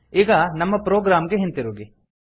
ಈಗ ನಮ್ಮ ಪ್ರೊಗ್ರಾಮ್ ಗೆ ಹಿಂತಿರುಗಿ